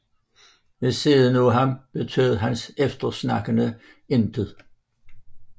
Ved siden af ham betød hans eftersnakkere intet